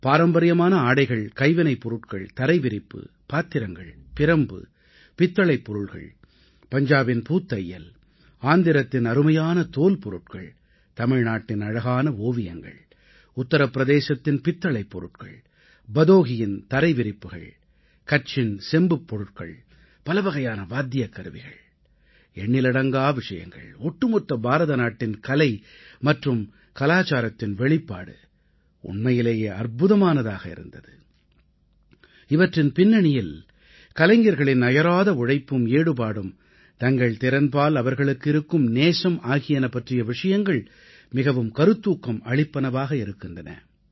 பாரம்பரியமான ஆடைகள் கைவினைப் பொருட்கள் தரைவிரிப்பு பாத்திரங்கள் பிரம்பு பித்தளைப் பொருள்கள் பஞ்சாபின் பூத்தையல் ஆந்திரத்தின் அருமையான தோல் பொருட்கள் தமிழ்நாட்டின் அழகான ஓவியங்கள் உத்திர பிரதேசத்தின் பித்தளைப் பொருட்கள் பதோஹீயின் தரை விரிப்புகள் கட்சின் செம்புப் பொருட்கள் பலவகையான வாத்தியக்கருவிகள் எண்ணிலடங்கா விஷயங்கள் ஒட்டுமொத்த பாரதநாட்டின் கலை மற்றும் கலாச்சாரத்தின் வெளிப்பாடு உண்மையிலேயே அற்புதமானதாக இருந்தது இவற்றின் பின்னணியில் கலைஞர்களின் அயரா உழைப்பும் ஈடுபாடும் தங்கள் திறன்பால் அவர்களுக்கு இருக்கும் நேசம் ஆகியன பற்றிய விஷயங்கள் மிகவும் கருத்தூக்கம் அளிப்பனவாக இருக்கின்றன